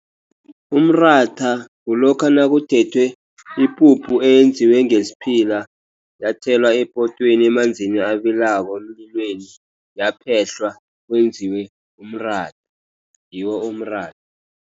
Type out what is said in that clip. Umratha kulokha nakuthethwe ipuphu eyenziwe ngesiphila, yathelwa epotweni emanzini abilako, emlilweni. Yaphehlwa, kwenziwe umratha. Ngiwo umratha.